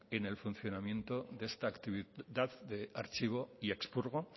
en el funcionamiento de esta actividad de archivo y expurgo